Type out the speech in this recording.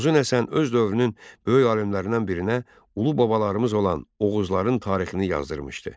Uzun Həsən öz dövrünün böyük alimlərindən birinə ulu babalarımız olan oğuzların tarixini yazdırılmışdı.